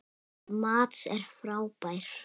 Mads er frábær.